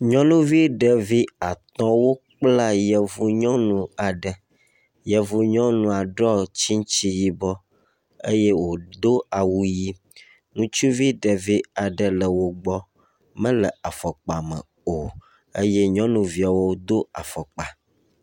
Nyɔnuvi ɖevi atɔwo kpla yevu nyɔnu aɖe. Yevu nyɔnua ɖɔ tsitsi yibɔ eye wodo awu ʋi. Ŋutsuvi ɖevi aɖe le wogbɔ mele afɔpa me o eye nyɔnuviawo wodo afɔkpa.